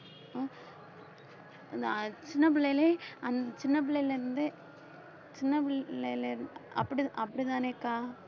அந்த அஹ் சின்ன பிள்ளையிலே அந்த சின்ன பிள்ளைலருந்தே சின்ன பிள்ளைல அப்படி அப்படித்தானேக்கா